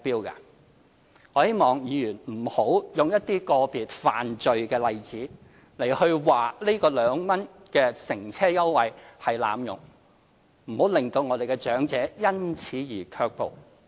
我希望議員不要用一些個別犯罪的例子指這個2元乘車優惠被濫用，不要令長者因此而卻步。